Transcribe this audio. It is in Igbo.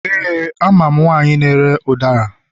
Éè, amam nwanyi na-ere ụdara.